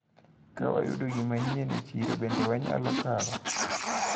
Kawayudo gimanyien e chiro bende wanyalo kawo.